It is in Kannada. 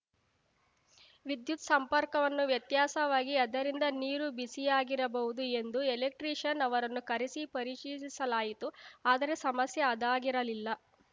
ವಿದ್ಯುತ್‌ ಸಂಪರ್ಕವನ್ನು ವ್ಯತ್ಯಾಸವಾಗಿ ಅದರಿಂದ ನೀರು ಬಿಸಿಯಾಗಿರಬಹುದು ಎಂದು ಎಲೆಕ್ಟ್ರೀಷಿಯನ್‌ ಅವರನ್ನು ಕರೆಸಿ ಪರಿಶೀಲಿಸಲಾಯಿತು ಆದರೆ ಸಮಸ್ಯೆ ಅದಾಗಿರಲಿಲ್ಲ